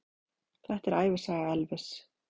Þetta er ævisaga Elvis!